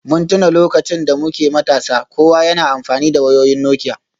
Mun tuna lokacin da muke matasa, kowa yana amfani da wayoyin Nokia